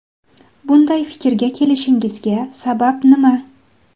Bunday fikrga kelishingizga sabab nima?